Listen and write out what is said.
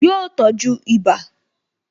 Yọ tọ́jú ibà